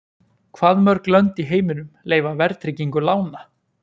Hvað mörg lönd í heiminum leyfa verðtryggingu lána?